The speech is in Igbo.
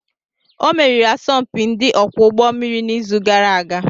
Ọ meriri asọmpi ndị ọkwọ ụgbọ mmiri n'izu gara aga